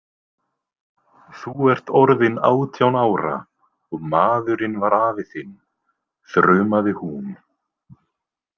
Þú ert orðin átján ára og maðurinn var afi þinn, þrumaði hún.